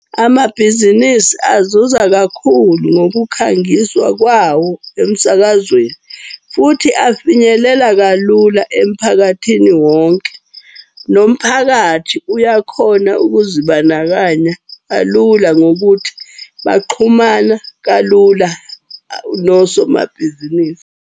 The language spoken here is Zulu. Amabhizinisi azuza kakhulu ngokukhangiswa kwawo emsakazweni futhi afinyelela kalula emphakathini wonke. Nomphakathi uyakhona ukuzibandakanya kalula ngokuthi baxhumana kalula nosomabhizinisi.